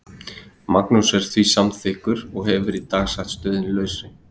Magnús er því samþykkur og hefur í dag sagt stöðunni lausri.